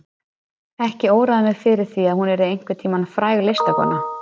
Ekki óraði mig fyrir því að hún yrði einhvern tíma fræg listakona.